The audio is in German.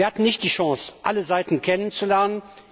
Wir hatten nicht die Chance, alle Seiten kennenzulernen.